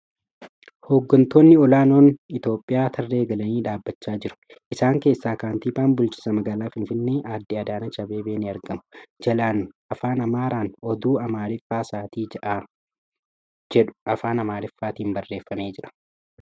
Hoggantoonni ol'aanoon Itiyoophiyaa tarree galanii dhaabbachaa jiru. Isaan keessa kantiibaan bulchiinsa magaalaa Finfinnee adde Adaanach Abeebee ni argamu. Jalaan Afaan Amaaraan ' Oduu Amaariffaa Sa'aatii Ja'aa ' jedhu Afaan Amaariffaatiin barreeffamee jira.